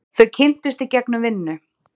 Þau kynntust í gegnum vinnu.